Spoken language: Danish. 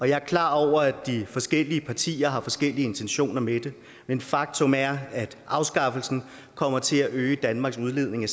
jeg er klar over at de forskellige partier har forskellige intentioner med det men faktum er at afskaffelsen kommer til at øge danmarks udledning af